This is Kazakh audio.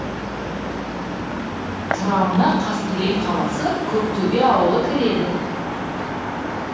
құрамына қаскелең қаласы көктөбе ауылы кіреді